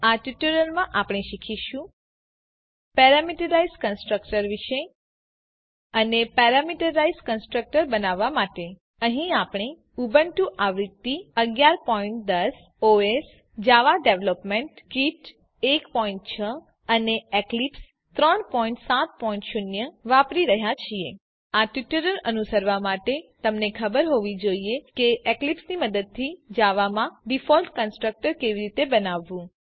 આ ટ્યુટોરીયલમાં આપને શીખીશું પેરામીટરાઈઝ કન્સ્ટ્રક્ટર વિષે અને પેરામીટરાઈઝ કન્સ્ટ્રક્ટર બનાવવા માટે અહીં આપણે ઉબુન્ટુઆવૃત્તિ 1110 ઓએસ જાવા ડેવલપમેન્ટ કીટ 16 અને એક્લીપ્સ 370 આ ટ્યુટોરીયલ અનુસરવા માટે તમને ખબર હોવી જોઈએ કે એક્લીપ્સની મદદથી જાવામાં ડીફોલ્ટ કન્સ્ટ્રકટર કેવી રીતે બનાવવું